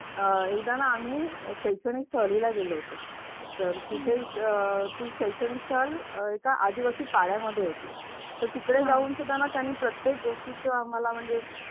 अह एकदा ना आम्ही शैक्षणिक सहलीला गेलो होतो तर तिथेच शैक्षणिक सहल एका आदिवासी पाण्यामध्ये होती. तर तिकडे जाऊन सुधारणा त्यांनी प्रत्येक गोष्टीचा आम्हाला म्हणजे